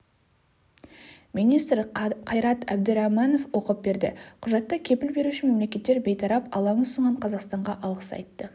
министрі қайрат әбдіраіманов оқып берді құжатта кепіл беруші мемлекеттер бейтарап алаң ұсынған қазақстанға алғыс айтты